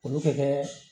Olu bɛ kɛ